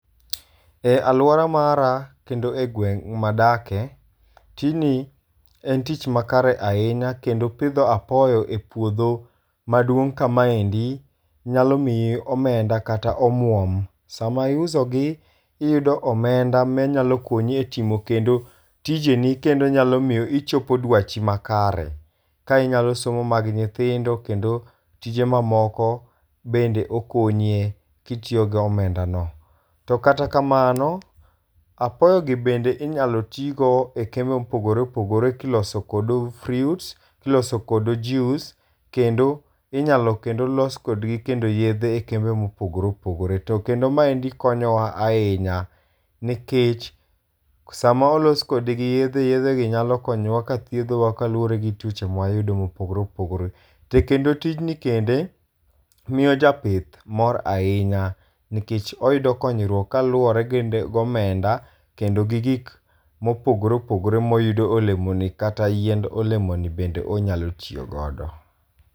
E aluora mara kendo e gweng' madake tijni en tich makare ahinya kendo pidho apoyo e puodho maduong' kamandi nyalo miyi omenda kata omuom. Sama iuso gi iyudo omenda manyalo konyi e timo tijeni kendo onyalo miyo inchopo dwachi makare. Ka inyalo somo mag nyithindo kendo tije mamoko bende okonyie kitiyo go omenda no. To kata kamano apoyo gi bende inyalo ti go e kembe mopogore opogore kilosogo kod fruits, iloso kodo juice. Kendo inyalo kendo los kodgi kendo yedhe e kembe mopogore opogore. To kendo maendi konyo wa ahinya. Nikech sama olos kodgi yedhe yedhe gi nyalokonyowa ka thiethowa kaluwore gi tuoche ma wayudo mopogore opogore. To kendo tijni kendo miyo ja pith mor ahinya nikech oyudo konyruok kaluwore gi omeda kendo gi gik mopogore opogore moyudo e olemoni kata yiend olemoni bende onyalo tiyogodo.